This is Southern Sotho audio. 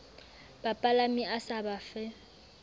bapalami a sa ba fe